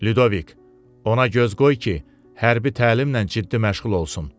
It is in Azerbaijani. Lyudovik, ona göz qoy ki, hərbi təlimlə ciddi məşğul olsun.